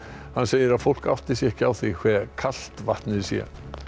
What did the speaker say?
hann segir að fólk átti sig ekki á því hve kalt vatnið sé